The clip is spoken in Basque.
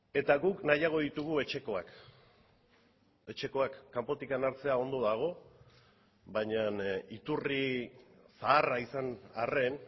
eta guk nahiago ditugu etxekoak etxekoak kanpotik hartzea ondo dago baina iturri zaharra izan arren